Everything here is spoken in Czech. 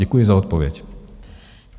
Děkuji za odpověď.